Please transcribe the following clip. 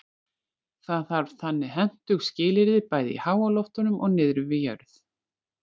það þarf þannig hentug skilyrði bæði í háloftunum og niðri við jörð